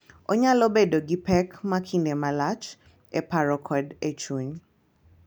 Onyalo bedo gi pek ma kinde malach e paro kod e chuny.